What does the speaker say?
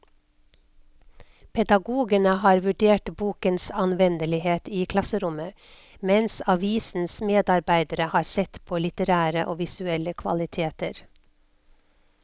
Pedagogene har vurdert bokens anvendelighet i klasserommet, mens avisens medarbeidere har sett på litterære og visuelle kvaliteter.